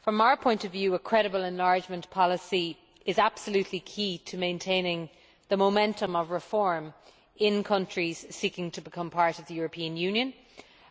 From our point of view, a credible enlargement policy is absolutely key to maintaining the momentum of reform in countries seeking to become part of the European Union,